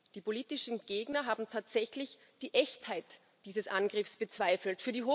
Die politischen Gegner haben tatsächlich die Echtheit dieses Angriffs bezweifelt.